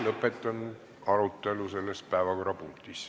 Lõpetan arutelu selles päevakorrapunktis.